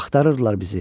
Axtarırdılar bizi.